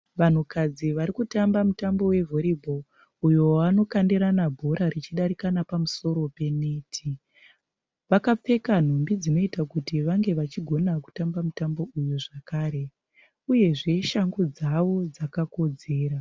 Vanhukadzi vari kutamba mutambo we volleyball uyo wavanokandirana bhora richidarika nepamusoro peneti. Vakapfeka nhumbi dzinoita kuti vange vachigona kutamba mutambo uyu zvakare uyezve shangu dzavo dzakakodzera.